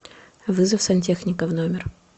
вызов сантехника в номер